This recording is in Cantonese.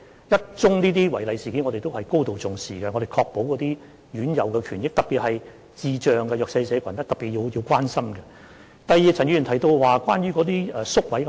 即使是一宗違例事件，我們也會高度重視，以確保院友的權益，特別是需要特別關心的智障人士和弱勢社群。